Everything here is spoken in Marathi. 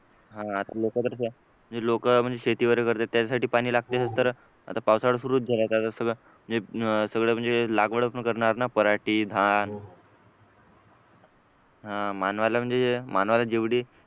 हा लोक तर जे लोक म्हणजे शेती वगैरे करतात त्यांच्यासाठी पाणी लागते ना तर आता पावसाळा सुरू झाला आहे तर आता सगळं म्हणजे लागवड पण करणार ना मराठी धन मानवाला म्हणजे मानवाला जेवढे